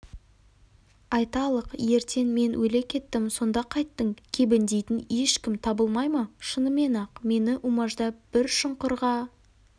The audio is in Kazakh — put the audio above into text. айталық ертең мен өле кеттім сонда қайттің кебіндейтін ешкім табылмай ма шынымен-ақ мені умаждап бір шұңқырға